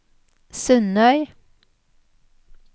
Sundøy